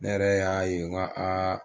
Ne yɛrɛ y'a ye nga aa